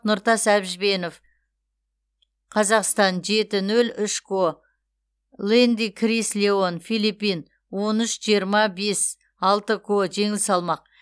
нұртас әбжібенов қазақстан жеті нөл үш ко лэнди крис леон филиппин он үш жиырма бес алты ко жеңіл салмақ